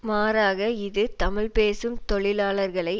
மாறாக இது தமிழ் பேசும் தொழிலாளர்களை